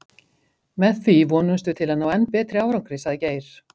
Með því vonumst við til að ná enn betri árangri, sagði Geir.